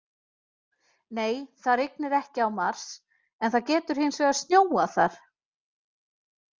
Nei, það rignir ekki á Mars en það getur hins vegar snjóað þar!